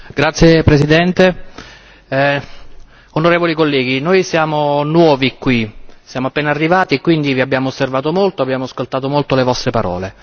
Signor Presidente, onorevoli colleghi, noi siamo nuovi qui, siamo appena arrivati e quindi vi abbiamo osservato molto, abbiamo ascoltato molto le vostre parole.